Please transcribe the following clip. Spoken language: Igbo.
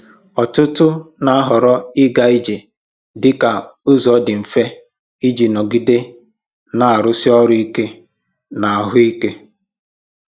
Ọtụtụ na-ahọrọ ịga ije dị ka ụzọ dị mfe iji nọgide na-arụsi ọrụ ike na ahụ ike.